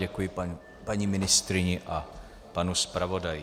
Děkuji paní ministryni a panu zpravodaji.